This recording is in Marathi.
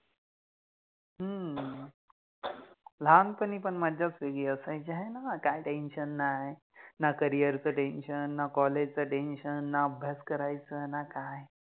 हं, लहानपणी पन मज्जाच वेगळी असायचि हाय न, काय Tension नाय, ना Career च Tension, ना College च Tension, ना अभ्यास करायचा ना काय